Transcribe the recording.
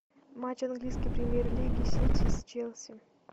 матч английской премьер лиги сити с челси